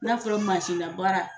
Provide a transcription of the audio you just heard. N'a fɔra na baara